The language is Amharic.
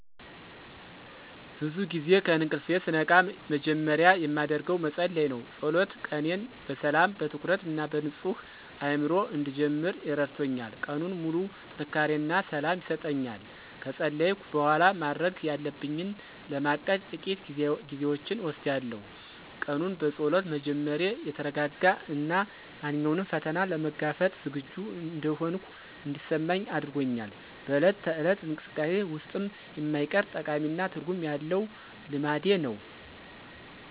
ብዙ ጊዜ ከእንቅልፌ ስነቃ መጀመሪያ የማደርገው መጸለይ ነው። ጸሎት ቀኔን በሰላም፣ በትኩረት እና በንጹህ አእምሮ እንድጀምር ረድቶኛል። ቀኑን ሙሉ ጥንካሬ እና ሰላም ይሰጠኛል። ከጸለይኩ በኋላ፣ ማድረግ ያለብኝን ለማቀድ ጥቂት ጊዜዎችን እወስዳለሁ። ቀኑን በጸሎት መጀመሬ የተረጋጋ እና ማንኛውንም ፈተና ለመጋፈጥ ዝግጁ እንደሆንኩ እንዲሰማኝ አድርጎኛል። በዕለት ተዕለት እንቅስቃሴዬ ውስጥም የማይቀር፣ ጠቃሚ እና ትርጉም ያለው ልማዴ ነው።